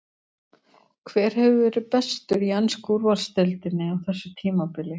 Hver hefur verið bestur í ensku úrvalsdeildinni á þessu tímabili?